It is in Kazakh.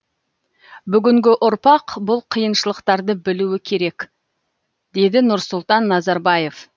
бүгінгі ұрпақ бұл қиыншылықтарды білуі керек деді нұрсұлтан назарбаев